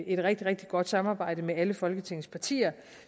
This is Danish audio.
et rigtig rigtig godt samarbejde med alle folketingets partier